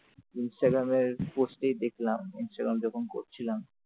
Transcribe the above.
ইনসটাগ্রামের post ই দেখলাম Instagram যখন করছিলাম ।